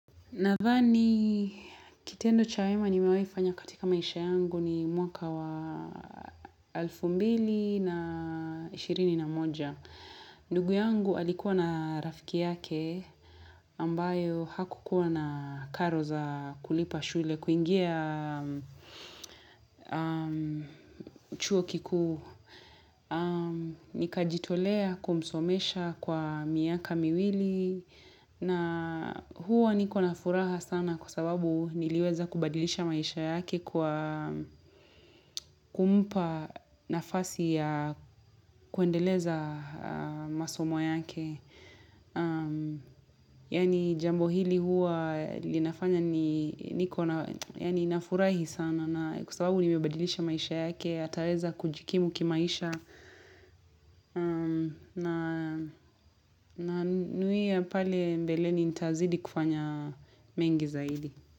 Nadhani kitendo cha wema nimewaifanya katika maisha yangu ni mwaka wa elfu mbili na ishirini na moja. Ndugu yangu alikuwa na rafiki yake ambayo hakukuwa na karo za kulipa shule kuingia chuo kikuu. Nikajitolea kumsomesha kwa miaka miwili na huwa niko na furaha sana kwa sababu niliweza kubadilisha maisha yake kwa kumpa nafasi ya kuendeleza masomo yake yaani jambo hili huwa linafanya niko nafurahi sana na kwa sababu nimebadilisha maisha yake ataweza kujikimu kimaisha na new year pale mbeleni nitaazidi kufanya mengi zaidi.